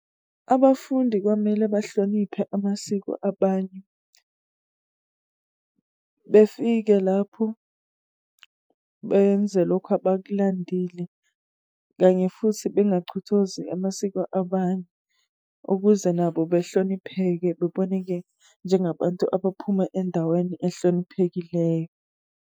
Abafundi kwamele bahloniphe amasiko abanye. Befike lapho benze lokhu abakulandile, kanye futhi bengacothosi amasiko abanye. Ukuze nabo benihlonipheke, beboneke njengabantu abaphuma endaweni ehloniphekileyo.